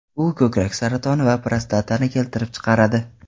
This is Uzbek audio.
U ko‘krak saratonini va prostatani keltirib chiqaradi.